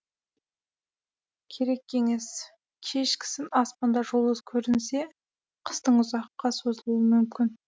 керек кеңес кешкісін аспанда жұлдыз көрінсе қыстың ұзаққа созылуы мүмкін